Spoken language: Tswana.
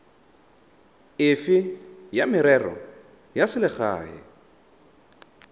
efe ya merero ya selegae